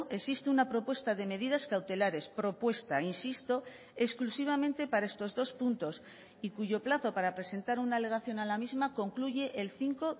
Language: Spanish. existe una propuesta de medidas cautelares propuesta insisto exclusivamente para estos dos puntos y cuyo plazo para presentar una alegación a la misma concluye el cinco